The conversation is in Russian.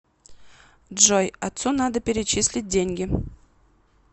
джой отцу надо перечислить деньги